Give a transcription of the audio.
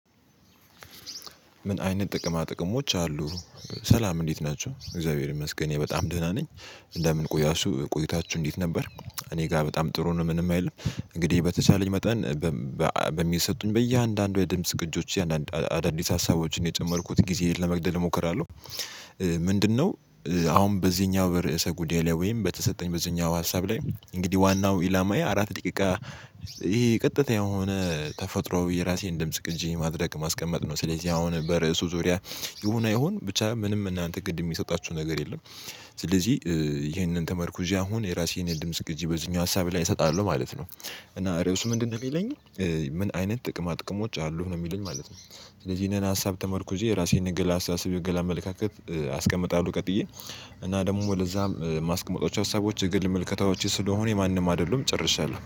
ምን አይነት ጥቅማ ጥቅሞች አሉ? ሰላም እንዴት ናቸው እግዚአብሔር ይመስገን እኔ በጣም ደህና ነኝ። እንደምን ቆያችሁ ቆይታችሁ እንዴት ነበር? እኔ ጋር በጣም ጥሩ ነው ምንም አይልም። እንግዲህ በተቻለኝ መጠን በእያንዳንዱ የድምጽ ግጆቼ አንዳንድ አዳዲስ ሀሳቦችን የጨመርኩት ጊዜየን ለመግደል እሞክራለሁ። ምንድነው? አሁን በዚህኛው በርዕሰ ጉዳይ ላይ ወይም በተሰጠኝ በዚህኛው ሀሳብ ላይ እንግዲህ ዋናው ኢላማዬ አራት ደቂቃ ይሄ ቀጥታ የሆነ ተፈጥሮአዊ የራሴን ድምጽ ቅጂ ማድረግ ማስቀመጥ ነው። ስለዚህ አሁን በርእሱ ዙሪያ ይሁን አይሁን ብቻ ምንም እናንተ ግድ እሚሰጣችሁ ነገር የለም። ስለዚህ ይሄንን ተመርኩዤ አሁን የራሴን የድምጽ ግጂ አሁን በዚህኛው ሀሳብ ላይ እሰጣለሁ ማለት ነው። እና ርዕሱ ምንድነው እሚለኝ? ምን አይነት ጥቅማ ጥቅሞች አሉህ ነው እሚለኝ ማለት ነው። ስለዚህ ይሄንን ሀሳብ ተመርኩዤ የራሴን የግል አስተሳሰብ የንግል አመለካከት አስቀምጣለሁ። ቀጥዬ እና ደሞ ወደዛም እማስቀመጣቸው ሀሳቦች የግል ምልከታዎቼ ስለሆኑ የማንም አይደሉም ጨርሻለሁ